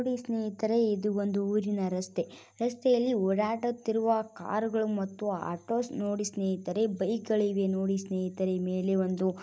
ನೋಡಿ ಸ್ನೇಹಿತರೇ ಇದು ಒಂದು ಊರಿನ ರಸ್ತೆ ರಸ್ತೆಯಲ್ಲಿ ಓಡಾಡುತ್ತಿರುವ ಕಾರು ಗಳು ಮತ್ತು ಆಟೋಸ್ ನೋಡಿ ಸ್ನೇಹಿತರೆ ಬೈಕ್ ಗಳಿವೆ ನೋಡಿ ಸ್ನೇಹಿತರೆ ಮೇಲೆ ಒಂದು